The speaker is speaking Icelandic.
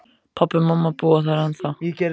Pabbi og mamma búa þar ennþá.